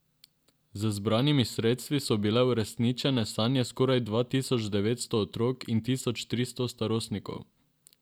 Z zbranimi sredstvi so bile uresničene sanje skoraj dva tisoč devetsto otrok in tisoč tristo starostnikov.